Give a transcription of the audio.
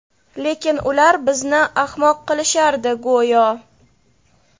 Lekin ular bizni ahmoq qilishardi go‘yo.